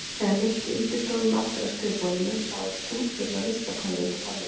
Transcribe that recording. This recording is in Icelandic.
Þegar Nikki ýtti stólnum aftur að skrifborðinu sá hann stútfulla ruslakörfu undir borðinu.